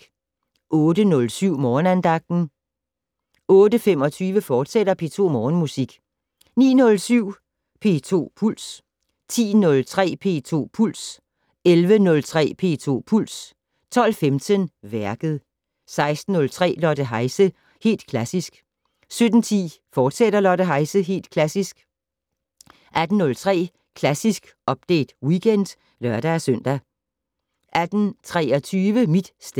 08:07: Morgenandagten 08:25: P2 Morgenmusik, fortsat 09:07: P2 Puls 10:03: P2 Puls 11:03: P2 Puls 12:15: Værket 16:03: Lotte Heise - Helt klassisk 17:10: Lotte Heise - Helt klassisk, fortsat 18:03: Klassisk Update Weekend (lør-søn) 18:23: Mit sted